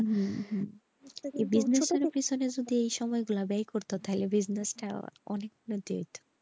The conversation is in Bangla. হুম হুম পিছনে যদি যায় সময় গুলা ব্যায় করতো তাহলে business অনেকটা যেত।